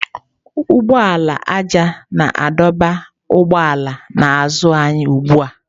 Ụgbọala ájá na-adọba ụgbọala n'azụ anyị ugbu a.